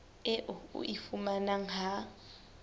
eo o e fumanang ha